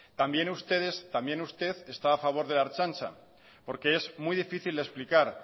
también usted está a favor de la ertzaintza porque es muy difícil de explicar